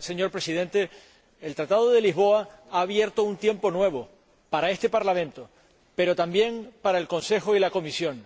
Señor Presidente, el Tratado de Lisboa ha abierto un tiempo nuevo para este Parlamento, pero también para el Consejo y la Comisión.